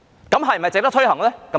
那是否值得推行呢？